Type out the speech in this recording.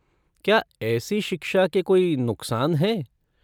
क्या ऐसी शिक्षा के कोई नुकसान हैं?